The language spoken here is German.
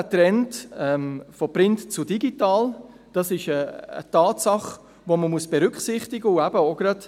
Auch der Trend von print zu digital ist eine Tatsache, die man berücksichtigen muss.